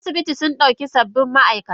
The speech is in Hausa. Asibitin sundauki sababbin maaikata.